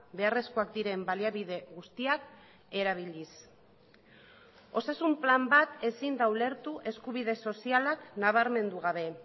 beharrezkoak diren baliabide guztiak erabiliz osasun plan bat ezin da ulertu eskubide sozialak nabarmendu gabe